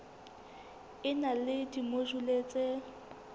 e na le dimojule tse